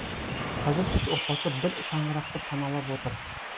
қазір үш отбасы бір шаңырақты паналап отыр